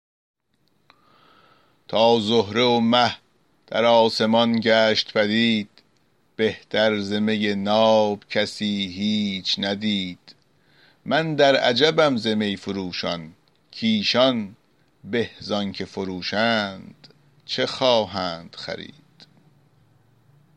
تا زهره و مه در آسمان گشت پدید بهتر ز می ناب کسی هیچ ندید من در عجبم ز می فروشان کایشان به زآنچه فروشند چه خواهند خرید